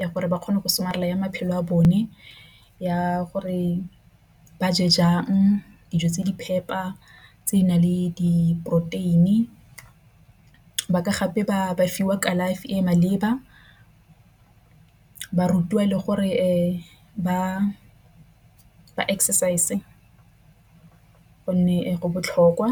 ya gore ba kgone go somarela ya maphelo a bone ya gore ba je jang. Dijo tse di phepa tse di nang le diporoteini ba ka gape ba ka fiwa kalafi e e maleba ba rutiwa le gore ba exercise gonne go botlhokwa.